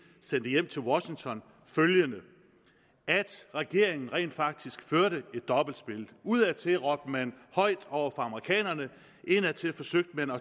sendte hjem til washington følgende regeringen førte rent faktisk et dobbeltspil udadtil råbte man højt over for amerikanerne indadtil forsøgte man at